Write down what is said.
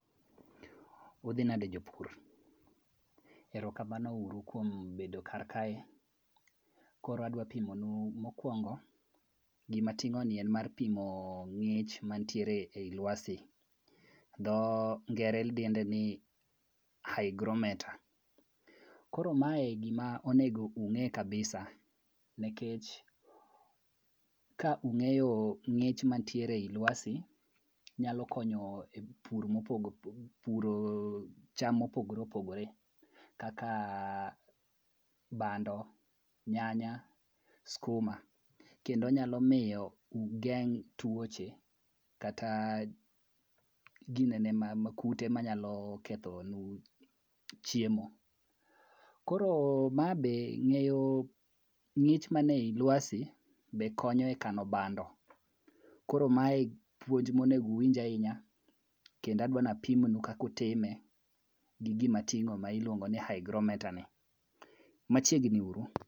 Udhi nade jopur. Erokamano uru kuom bedo kar kae, koro adwa pimonu mokwongo gima ating'oni en mar pimo ng'ich manitiere ei lwasi. Dhongere dende ni hygrometer. Koro mae gima onego ung'e kabisa nikech ka ung'eyo ng'ich manitiere ei lawsi, nyalo konyo e puro cham mopogore opogore kaka bando, nyanya, skuma kendo nyalo miyo ugeng' tuoche kata kute manyalo kethonu chiemo. Koro ng'eyo ng'ich mane i lwasi bende konyo e kano bando, koro mae puonj monego uwinj ahinya kendo adwa napimnu kaka utime gi gima ating'o ma ilwongo ni hygrometer ni, machiegni uru.